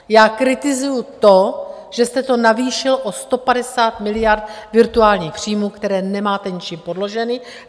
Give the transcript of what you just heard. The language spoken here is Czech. Já kritizuji to, že jste to navýšil o 150 miliard virtuálních příjmů, které nemáte ničím podloženy.